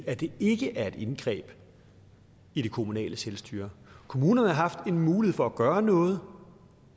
at det ikke er et indgreb i det kommunale selvstyre kommunerne har haft en mulighed for at gøre noget